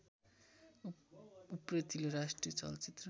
उप्रेतिले राष्ट्रिय चलचित्र